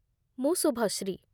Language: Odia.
ମୁଁ ଶୁଭଶ୍ରୀ।